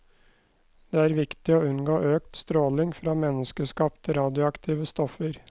Det er viktig å unngå økt stråling fra menneskeskapte radioaktive stoffer.